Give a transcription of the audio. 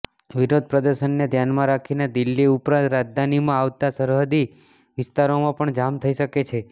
વિરોધ પ્રદર્શનને ધ્યાનમાં રાખીને દિલ્હી ઉપરાંત રાજધાનીમાં આવતા સરહદી વિસ્તારોમાં પણ જામ થઈ શકે છે